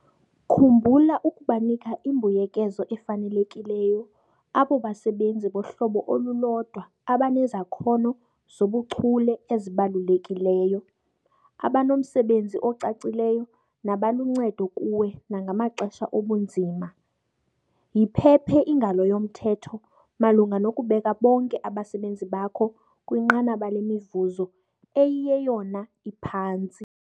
Khumbula ukubanika imbuyekezo efanelekileyo abo basebenzi bohlobo olulodwa abanezakhono zobuchule ezibalulekileyo, abanomsebenzi ocacileyo nabaluncedo kuwe nangamaxesha obunzima. Yiphephe ingalo yomthetho malunga nokubeka bonke abasebenzi bakho kwinqanaba lemivuzo 'eyiyeyona iphantsi'.